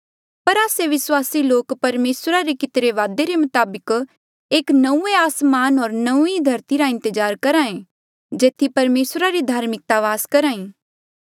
पर आस्से विस्वासी लोक परमेसरा रे कितिरे वादे रे मताबक एक नंऊँऐं आसमान होर नौंईं धरती रा इंतजार करेया करहा ऐ जेथी परमेसरा री धार्मिकता वास करही